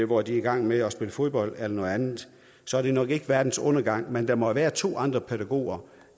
hvor de er i gang med at spille fodbold eller noget andet så er det nok ikke verdens undergang men der må jo være to andre pædagoger